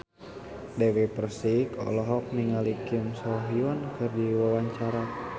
Dewi Persik olohok ningali Kim So Hyun keur diwawancara